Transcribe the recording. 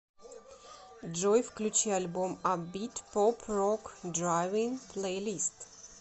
джой включи альбом апбит поп рок драйвин плэйлист